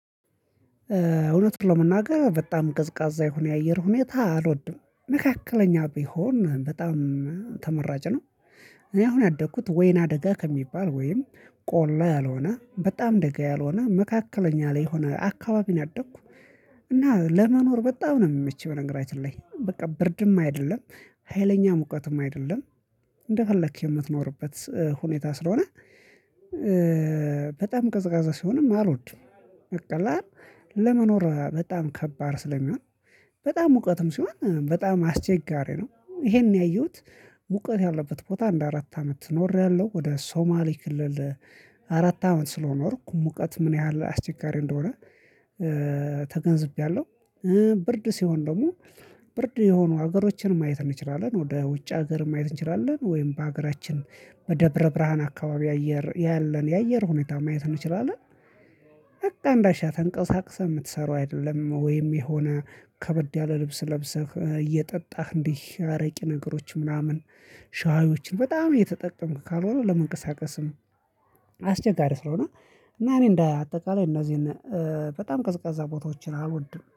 እውነቱን ለመናገር በጣም ቀዝቃዛ የሆነ የአየር ሁኔታ አልወድም መካከለኛ ቢሆን በጣም ተመራጭ ነው። እኔ አሁን ያደኩት ወይናደጋ ከሚባል ወይም ቆላ ያልሆነ በጣም ደጋ ያልሆነ መካከለኛ ላይ የሆነ አካባቢ ናደኩ። እና ለመኖር በጣም ነው የሚመችው በነገራችን ላይ በቃ ብርድም አይደለም ሀይለኛ ሙቀትም አይደለም። እንደፈለክ የምትኖርበት ሁኔታ ስለሆነ በጣም ቀዝቃዛ ሲሆንም አልወድም በቃ ለመኖር በጣም ከባድ ስለሚሆን። በጣም ሙቀትም ሲሆን በጣም አስቸጋሪ ነው። ይሄን ያየሁት ሙቀት ያለበት ቦታ አንድ አራት አመት ኖሬያለሁ። ወደ ሶማሌ ክልል አራት አመት ስለኖርኩ ሙቀት ምን ያህል አስቸጋሪ እንደሆነ ተገንዝቤያለሁ። ብርድ ሲሆን ደግሞ ብርድ የሆኑ ሀገሮችን ማየት እንችላለን ወደ ውጭ ሀገር ማየት እንችላለን ወይም በሀገራችን በደብረ ብርሃን አካባቢ አየር ያለን የአየር ሁኔታ ማየት እንችላለን። በቃ አንዳሻህ ተንቀሳቅሰህ የምትሰራው አይደለም ወይም የሆነ ከበድ ያለ ልብስ ለብሰህ እየጠጣህ እንዲህ አረቄ ነገሮችን ምናምን ሻዮችን በጣም እየተጠቀምክ ካልሆነ ለመንቀሳቀስም አስቸጋሪ ስለሆነ። እና እኔ እንደ አጠቃላይ እነዚህን በጣም ቅዝቃዛ ቦታዎችን አልወድም